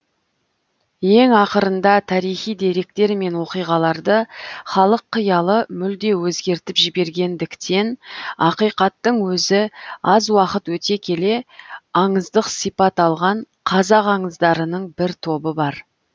ең ақырында тарихи деректер мен оқиғаларды халық қиялы мүлде өзгертіп жібергендіктен ақиқаттың өзі аз уақыт өте келе аңыздық сипат алған қазақ аңыздарының бір тобы бар